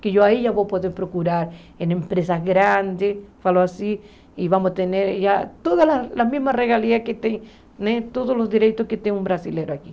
Que eu aí já vou poder procurar em empresas grandes, falo assim, e vamos ter todas as mesmas regalias que tem né, todos os direitos que tem um brasileiro aqui.